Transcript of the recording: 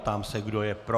Ptám se, kdo je pro.